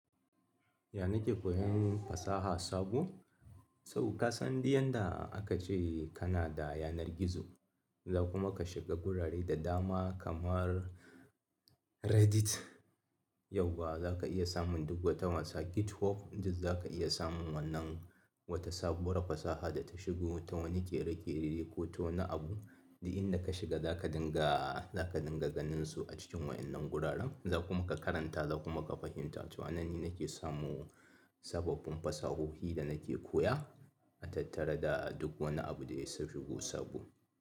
Ya na ke koyan fasaha sabo? To kasan duk yanda aka ce kana da yanar gizo, za kuma ka shiga gurare da dama kamar Reddit. Yauwa za ka iya samun duk wata wasa GitHub, duk za ka iya samun wannan wata sabuwar fasaha da ta shigo ta wani ƙere-ƙere ko ta wani abu. Duk inda ka shiga zaka dinga ganin su a cikin waƴannan guraren. Za kuma ka karanta za kuma ka fahimta. To a nan ni na ke samu sababbin fasahohi da na ke koya, a tattare da duk wani abu da ya shigo sabo.